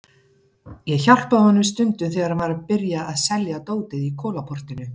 Ég hjálpaði honum stundum þegar hann var að byrja að selja dótið í Kolaportinu.